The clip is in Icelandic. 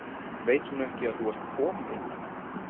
Veit hún ekki að þú ert kom- inn?